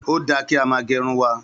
Ó dà kí á má gèrún wà